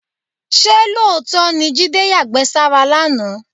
Ṣé lóòótọ́ ni Jídé yàgbẹ́ sára lánàá?